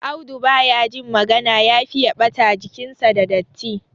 Audu ba ya jin magana ya fiye ɓata jikinshi da datti.